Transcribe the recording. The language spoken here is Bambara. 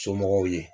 Somɔgɔw ye